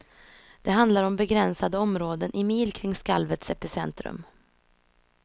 Det handlar om begränsade områden, i mil kring skalvets epicentrum.